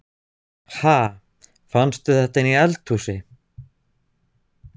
Ha! Fannstu þetta inni í eldhúsi?